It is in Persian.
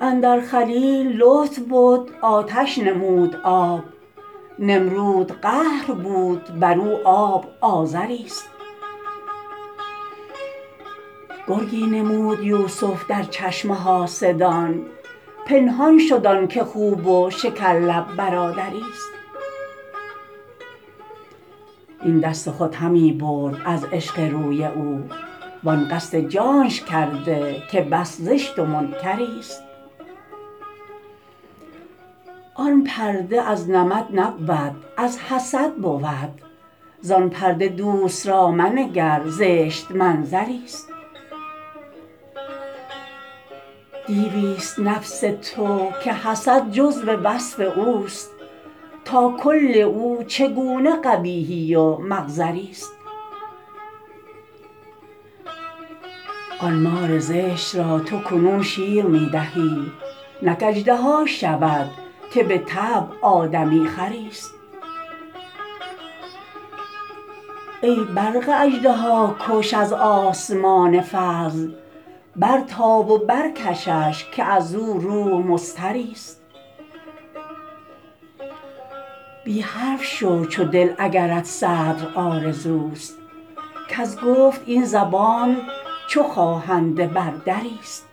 اندر خلیل لطف بد آتش نمود آب نمرود قهر بود بر او آب آذری ست گرگی نمود یوسف در چشم حاسدان پنهان شد آنک خوب و شکرلب برادری ست این دست خود همی برد از عشق روی او وان قصد جانش کرده که بس زشت و منکری ست آن پرده از نمد نبود از حسد بود زان پرده دوست را منگر زشت منظری ست دیوی ست نفس تو که حسد جزو وصف اوست تا کل او چگونه قبیحی و مقذری ست آن مار زشت را تو کنون شیر می دهی نک اژدها شود که به طبع آدمی خوری ست ای برق اژدهاکش از آسمان فضل برتاب و برکشش که از او روح مضطری ست بی حرف شو چو دل اگرت صدر آرزوست کز گفت این زبانت چو خواهنده بر دری ست